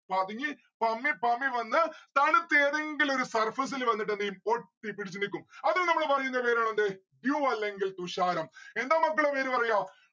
പതുങ്ങി പമ്മി പമ്മി വന്ന് തണുത്ത ഏതെങ്കിലും ഒരു surface ഇൽ വന്നിട്ട് എന്തെയ്യും ഒട്ടിപ്പിടിച്ചു നിൽക്കും. അത്തിന് നമ്മള് പറയുന്ന പേരാണ് എന്ത് dew അല്ലെങ്കിൽ തുഷാരം. എന്താ മക്കളെ പേര് പറയാ